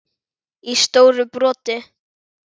í stóru broti.